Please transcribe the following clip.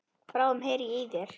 Bráðum heyri ég í þér.